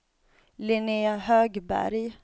Linnea Högberg